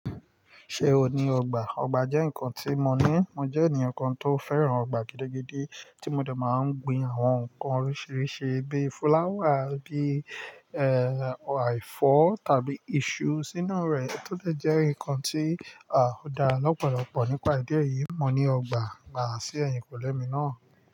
Ṣé o ní ọgbà? Ọgbà jẹ́ nǹkan tí mo ní. Mo jẹ́ ènìyàn kan tó fẹ́ràn ọgbà gidigidi tí mo dà máa ń gbin àwọn nǹkan oríṣiríṣi bíi fúláwà, bíi, àìfọ̀ tàbí iṣu sínú rẹ̀ to dẹ̀ jẹ́ nǹkan tí, a, dá lọ́pọ̀lọpọ̀. Nípà ìdí èyí, mo ní ọgbà, gbà sí ẹ̀yìnkùlé mi náà.